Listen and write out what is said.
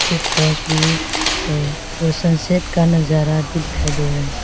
Check post भी है और सनसेट का नजारा भी दिखाई दे रहा है।